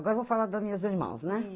Agora vou falar das minhas irmãs, né?